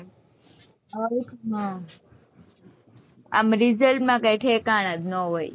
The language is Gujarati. આવી રીતે ન આમ result માં કઈ ઠેકાણાં જ ન હોય